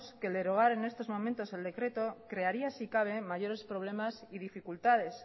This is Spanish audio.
que el derogar en estos momentos el decreto crearía si cabe mayores problemas y dificultades